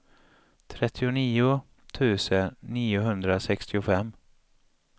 trettionio tusen niohundrasextiofem